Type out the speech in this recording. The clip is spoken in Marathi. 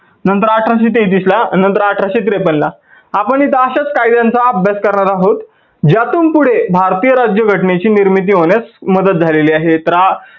नंतर अठराशे तेहतीस ला आणि नंतर अठराशे त्रेपन ला. आपण इथं अश्याच कायद्यांचा अभ्यास करणार आहोत. ज्यातून पुढे भारतीय राज्याघटनेची निर्मिती होण्यास मदत झालेली आहे.